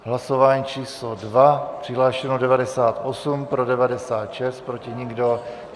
Hlasování číslo 2, přihlášeno 98, pro 96, proti nikdo.